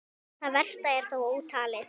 Það versta er þó ótalið.